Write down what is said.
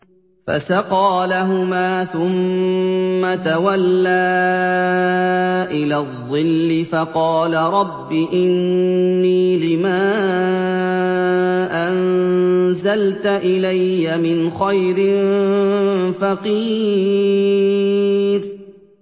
فَسَقَىٰ لَهُمَا ثُمَّ تَوَلَّىٰ إِلَى الظِّلِّ فَقَالَ رَبِّ إِنِّي لِمَا أَنزَلْتَ إِلَيَّ مِنْ خَيْرٍ فَقِيرٌ